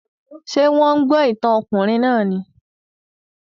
Ṣé wọ́n ń gbọ́ ìtàn ọkùnrin náà ni?